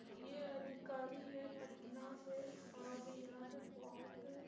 ये अधिकारी है पटना से और यहाँ पे बोहोत --